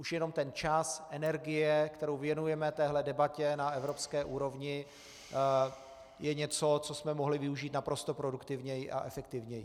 Už jenom ten čas, energie, kterou věnujeme téhle debatě na evropské úrovni, je něco, co jsme mohli využít naprosto produktivněji a efektivněji.